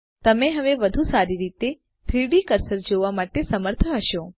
તમે હવે વધુ સારી રીતે 3ડી કર્સર જોવા માટે સમર્થ હશો